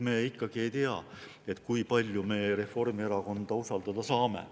Me ikkagi ei tea, kui palju me Reformierakonda usaldada saame.